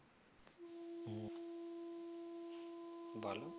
বলো